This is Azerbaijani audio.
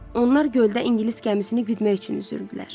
Onlar göldə ingilis gəmisini güdmək üçün üzürdülər.